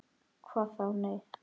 Hvað þá., nei.